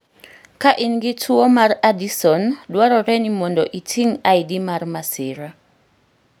Ka in gi tuwo mar Addison, dwarore ni mondo iting' ID mar masira